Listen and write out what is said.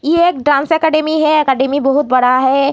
ये एक dance academy है | अकैडमी बहुत बड़ा है |